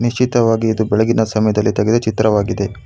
ನೀಶಿತವಾಗಿ ಇದು ಬೆಳಗಿನ ಸಮಯದಲ್ಲಿ ತೆಗೆದ ಚಿತ್ರವಾಗಿದೆ.